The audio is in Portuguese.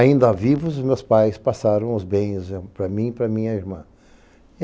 Ainda vivos, meus pais passaram os bens para mim e para minha irmã.